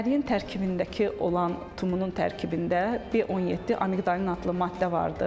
Əriyin tərkibindəki olan tumunun tərkibində B17 amiqdalin adlı maddə vardır.